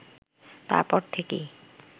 তারপর থেকেই